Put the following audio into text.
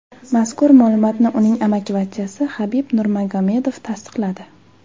Mazkur ma’lumotni uning amakivachchasi Habib Nurmagomedov tasdiqladi .